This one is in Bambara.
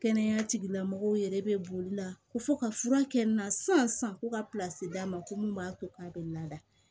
Kɛnɛya tigilamɔgɔw yɛrɛ bɛ boli la ko fɔ ka fura kɛ n na sisan ko ka d'a ma ko mun b'a to k'a bɛ na